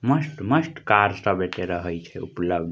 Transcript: मस्त-मस्त कार सब रहय छै एता उपलब्ध --